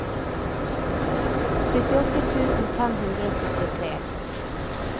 syttiåtte tusen fem hundre og syttitre